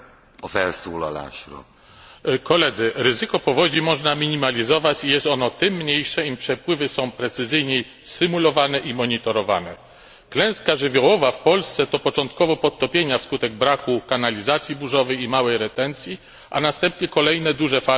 Panie Przewodniczący! Ryzyko powodzi można minimalizować i jest ono tym mniejsze, im przepływy są precyzyjniej symulowane i monitorowane. Klęska żywiołowa w Polsce to początkowo podtopienia na skutek braku kanalizacji burzowej i małej retencji, a następnie kolejne duże fale powodziowe.